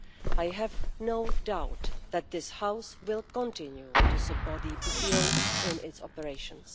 I have no doubt that this House will continue to support the EPPO in its operations.